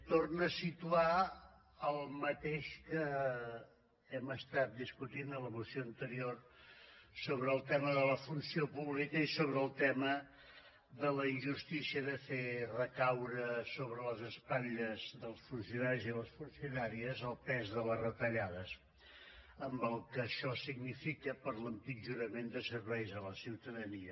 torna a situar el mateix que hem discutit a la moció anterior sobre el tema de la funció pública i sobre el tema de la injustícia de fer recaure sobre les espatlles dels funcionaris i les funcionàries el pes de les retallades amb el que això significa per a l’empitjorament de serveis a la ciutadania